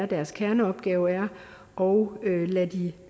deres kerneopgave er og